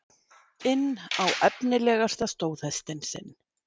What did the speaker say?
inn á efnilegasta stóðhestinn sinn.